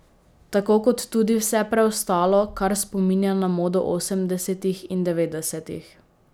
Tako kot tudi vse preostalo, kar spominja na modo osemdesetih in devetdesetih.